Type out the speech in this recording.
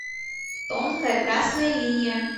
тонкая красная линия